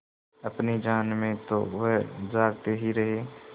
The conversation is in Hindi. अपनी जान में तो वह जागते ही रहे